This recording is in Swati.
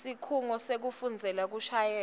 sikhungo sekufundzela kushayela